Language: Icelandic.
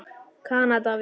Kanada við.